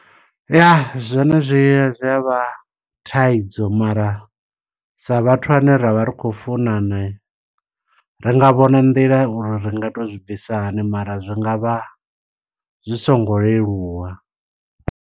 Ya, zwone zwi zwi avha thaidzo mara, sa vhathu ane ra vha ri khou funana, ri nga vhona nḓila uri ri nga to zwi bvisa hani. Mara zwi ngavha zwi songo leluwa.